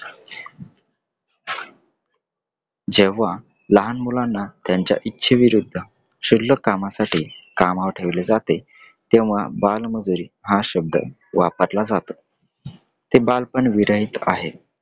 जेव्हा लहान मुलांना त्यांच्या इचछेविरुध्द शुल्लक कामासाठी कामावर ठेवले जातें तेव्हा बालमजुरी हा शब्द वापरला जातो. ते बालपनविरहित आहे.